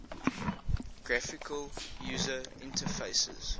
graphical user interfaces